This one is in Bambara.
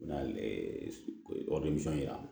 N'a ye yira